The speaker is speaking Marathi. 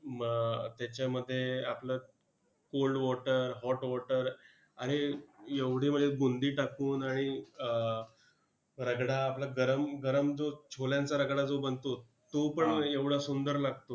अं त्याच्यामध्ये आपलं cold water, hot water आणि एवढी म्हणजे बुंदी टाकून आणि अं रगडा आपलं गरम गरम जो छोल्यांचा रगडा जो बनतो, तो पण एवढा सुंदर लागतो.